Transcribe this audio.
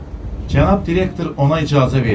Cənab direktor ona icazə verib.